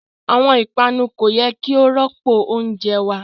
Awọn ipanu ko yẹ ki o rọpo ounjẹ wa